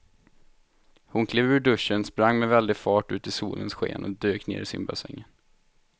Hon klev ur duschen, sprang med väldig fart ut i solens sken och dök ner i simbassängen.